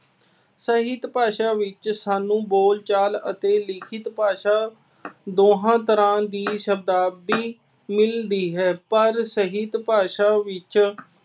ਸਾਹਿਤ ਭਾਸ਼ਾ ਵਿੱਚ ਸਾਨੂੰ ਬੋਲਚਾਲ ਅਤੇ ਲਿਖਤ ਭਾਸ਼ਾ ਦੋਹਾਂ ਤਰ੍ਹਾਂ ਦੀ ਸ਼ਬਦਾਵਲੀ ਮਿਲਦੀ ਹੈ। ਪਰ ਸਾਹਿਤ ਭਾਸ਼ਾ ਵਿੱਚ